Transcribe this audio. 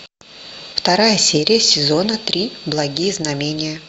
вторая серия сезона три благие знамения